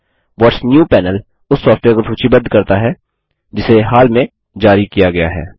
what's new panel उस software को सूचीबद्ध करता है जिसे हाल में जारी किया गया है